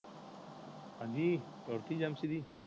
ਹਾਂਜੀ ਰੋਟੀ ਜੇਮਸਰੀ